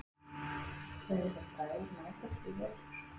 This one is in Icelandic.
Munu þeir bræður mætast í vetur?